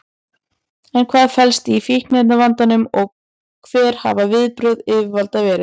En hvað felst í fíkniefnavandanum og hver hafa viðbrögð yfirvalda verið?